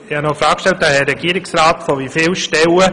Aber ich habe Regierungsrat Neuhaus noch eine Frage gestellt.